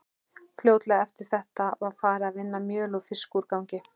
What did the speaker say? Fljótlega eftir þetta var farið að vinna mjöl úr fiskúrgangi.